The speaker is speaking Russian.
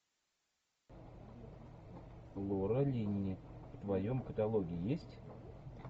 лора линни в твоем каталоге есть